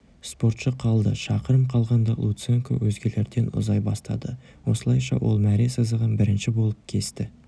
спортшы қалды шақырым қалғанда луценко өзгелерден ұзай бастады осылайша ол мәре сызығын бірінші болып кесті